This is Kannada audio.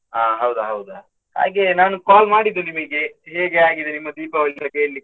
ಅಹ್ ಹೌದಾ ಹೌದಾ. ಹಾಗೆ ನಾನು call ಮಾಡಿದ್ದು ನಿಮಗೆ ಹೇಗೆ ಆಗಿದೆ ನಿಮ್ಮ Deepavali ಅಂತ ಕೇಳ್ಲಿಕ್ಕೆ?